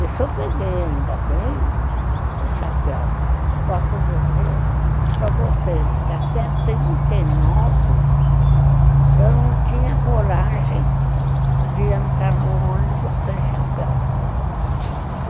E se eu peguei ainda bem o chapéu, eu posso dizer para vocês que até trinta e nove eu não tinha coragem de entrar no ônibus sem chapéu.